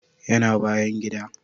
Yana bayan gida